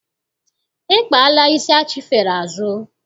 I kpaala isi achifere azụ?